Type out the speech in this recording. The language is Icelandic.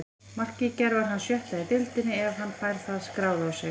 Markið í gær var hans sjötta í deildinni ef hann fær það skráð á sig.